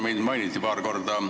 Mind mainiti paar korda.